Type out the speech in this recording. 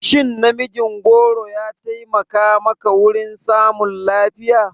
Shin namijin goro ya taimaka maka wurin samun lafiya?